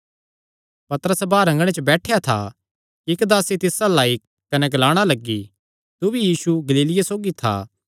पतरस बाहर अँगणे च बैठेया था कि इक्क दासी तिस अल्ल आई कने ग्लाणा लग्गी तू भी यीशु गलीलिये सौगी था